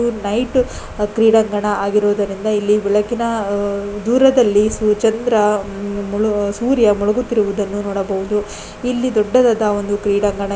night ಕ್ರೀಡಾಗಂಣ ಆಗಿರುವುದರಿಂದ ಬೆಳಕಿನ ದೂರದಲ್ಲಿ ಚಂದ್ರ ಸೂರ್ಯ ಮುಳುಗುತಿರುವುದನ್ನು ನೋಡಬಹುದು ಇಲ್ಲಿ ದೊಡ್ಡದಾದ ಒಂದು ಕ್ರಿಡಾಂಗಣ--